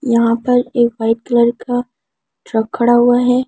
यहां पर एक व्हाइट कलर का ट्रक खड़ा हुआ है।